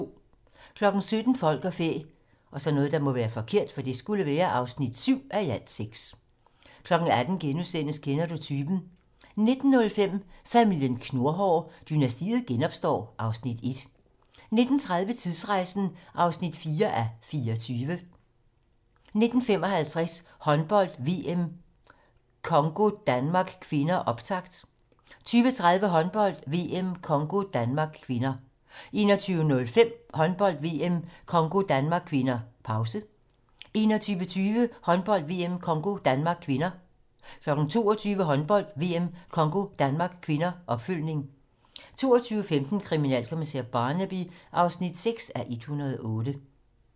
17:00: Folk og fæ (7:6) 18:00: Kender du typen? * 19:05: Familien Knurhår: Dynastiet genopstår (Afs. 1) 19:30: Tidsrejsen (4:24) 19:55: Håndbold: VM - Congo-Danmark (k) - optakt 20:30: Håndbold: VM - Congo-Danmark (k) 21:05: Håndbold: VM - Congo-Danmark (k) - pause 21:20: Håndbold: VM - Congo-Danmark (k) 22:00: Håndbold: VM - Congo-Danmark (k) - opfølgning 22:15: Kriminalkommissær Barnaby (6:108)